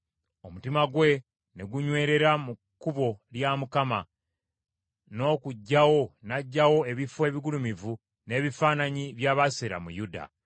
Omutima gwe ne gunywerera mu kkubo lya Mukama , n’okuggyawo n’aggyawo ebifo ebigulumivu n’ebifaananyi bya Baasera mu Yuda.